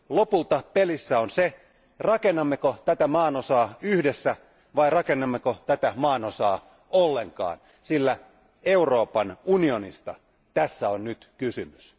Lopulta pelissä on se, rakennammeko tätä maanosaa yhdessä vai rakennammeko tätä maanosaa ollenkaan, sillä Euroopan unionista tässä on nyt kysymys.